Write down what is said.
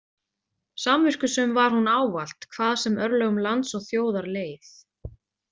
Samviskusöm var hún ávallt, hvað sem örlögum lands og þjóðar leið.